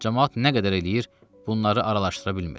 Camaat nə qədər eləyir, bunları araşdıra bilmir.